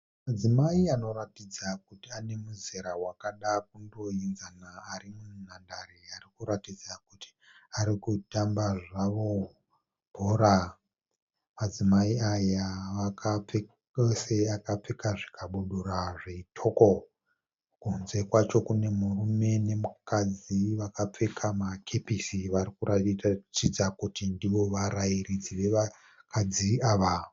Madzimai anoratidza kuti ane muzera wakada kundoinzana. Ari munhandare arikuratidza kuti vari kutandara zvavo vachitamba bhora. Madzimai aya akapfeka zvikabudura zvitoko. Kunze kwacho kune mukadzi nemurume varikuratidza kuti ndivo varairidzi vevakadzi ava.